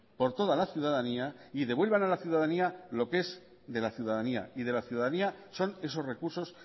por toda la ciudadanía y devuelvan a la ciudadanía lo que es de la ciudadanía y de la ciudadanía son esos recursos